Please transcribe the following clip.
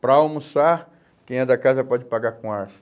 Para almoçar, quem é da casa pode pagar com arço.